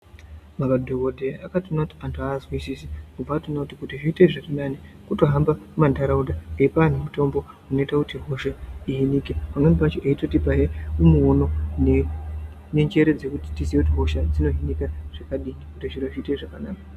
Madhokodheya akatoona kuti antu azwisisisi bvatoona kuti zviite zvirinani kutohamba mantaraunda eipaa antu mutombo inoita kuti hosha ihinike pamweni pachona eitotipa muono nenjere dzekuti tiziye kuti hosha dzinohinika zvakadii kuti zviro zviite zvakanaka.